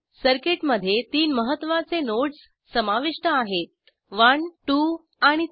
सर्किटमध्ये तीन महत्त्वाचे नोड्स समाविष्ट आहेत 1 2 आणि 3